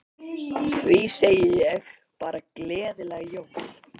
Því segi ég bara gleðileg jól.